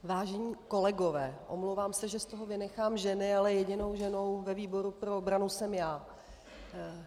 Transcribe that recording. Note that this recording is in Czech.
Vážení kolegové, omlouvám se, že z toho vynechám ženy, ale jedinou ženou ve výboru pro obranu jsem já.